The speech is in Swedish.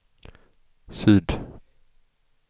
syd